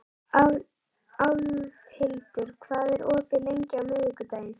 Álfhildur, hvað er opið lengi á miðvikudaginn?